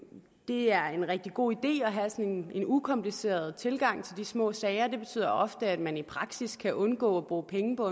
det er en rigtig god idé at have sådan en ukompliceret tilgang til de små sager det betyder ofte at man i praksis kan undgå at bruge penge på